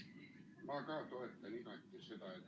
Mina ka toetan igati seda, et ...